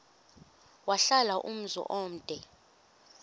wahlala umzum omde